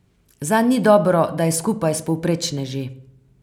Zanj ni dobro, da je skupaj s povprečneži.